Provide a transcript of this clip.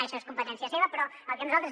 això és competència seva però el que nosaltres